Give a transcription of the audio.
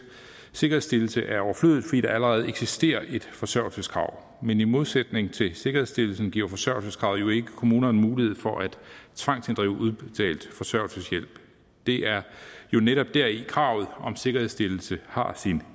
sikkerhedsstillelse er overflødigt fordi der allerede eksisterer et forsørgelseskrav men i modsætning til sikkerhedsstillelsen giver forsørgelseskravet jo ikke kommunerne mulighed for at tvangsinddrive udbetalt forsørgelseshjælp det er jo netop deri kravet om sikkerhedsstillelse har sin